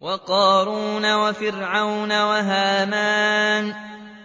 وَقَارُونَ وَفِرْعَوْنَ وَهَامَانَ ۖ